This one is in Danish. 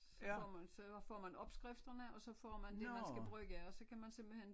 Så får man så får man opskrifterne og så får man det man skal bruge og så kan man simpelthen